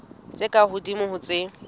tse ka hodimo ho tse